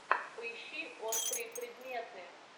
поищи острые предметы